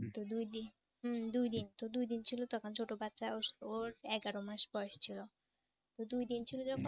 তো দুইদিন হম দুইদিন তো দুই দিন ছিল তখন ছোট বাচ্চা ওর এগারো মাস বয়স ছিল তো দুই দিন ছিল যখন